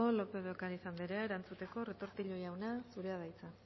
lópez de ocariz anderea erantzuteko retortillo jauna zurea da hitza